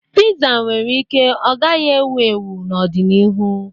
Piza nwere ike ọ gaghị ewu ewu n'ọdịnihu.